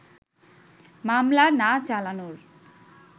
মামলা না চালানোর